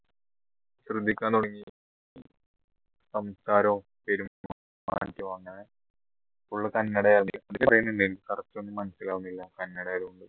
ശ്രദ്ധിക്കാൻ തുടങ്ങി സംസാരവും